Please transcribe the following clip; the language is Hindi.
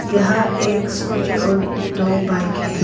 यहां एक स्कूटी और दो बाइक है।